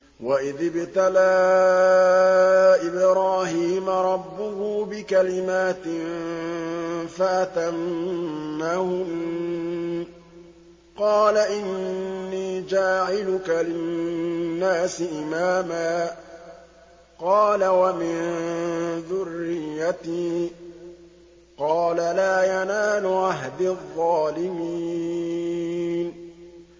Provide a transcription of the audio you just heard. ۞ وَإِذِ ابْتَلَىٰ إِبْرَاهِيمَ رَبُّهُ بِكَلِمَاتٍ فَأَتَمَّهُنَّ ۖ قَالَ إِنِّي جَاعِلُكَ لِلنَّاسِ إِمَامًا ۖ قَالَ وَمِن ذُرِّيَّتِي ۖ قَالَ لَا يَنَالُ عَهْدِي الظَّالِمِينَ